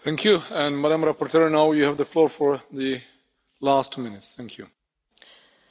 Domnule președinte, doamnă comisar, în primul rând, vreau să le mulțumesc tuturor colegilor care au luat cuvântul.